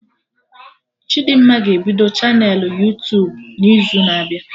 Chidimma ga-ebido chanelụ Yuutubun'izu na-abịa